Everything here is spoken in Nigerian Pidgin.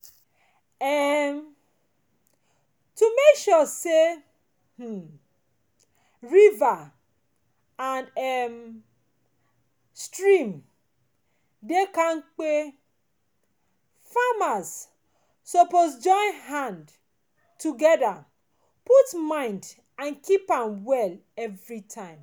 um to make sure say um river and um stream dey kampe farmers suppose join hand together put mind and dey keep am well everytime